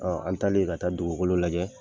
an talen ka taa dugukolo lajɛ.